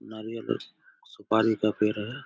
नारियल और सुपारी का पेड़ है।